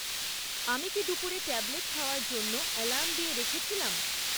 আমি কি দুপুরে ট্যাবলেট খাওয়ার জন্য অ্যালার্ম দিয়ে রেখেছিলাম?